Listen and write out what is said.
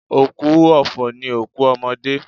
Òkú ọ̀fọ̀ ni òkú ọmọdé.